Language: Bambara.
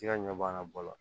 Ti ka ɲɛ b'an ka ba la